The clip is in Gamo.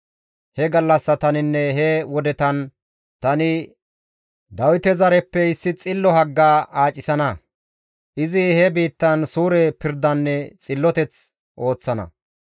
«He gallassataninne he wodetan tani Dawite zareppe issi xillo hagga aacisana; izi he biittan suure pirdanne xilloteth ooththana.